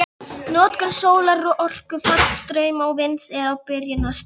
Notkun sólarorku, fallstrauma og vinds er á byrjunarstigi.